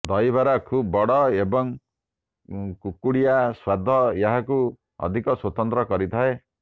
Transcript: ଦହିବରା ଖୁବ୍ ବଡ ଏବଂ କୁଡ୍ମୁଡିଆ ସ୍ୱାଦ ଏହାକୁ ଅଧିକ ସ୍ୱତନ୍ତ୍ର କରିଥାଏ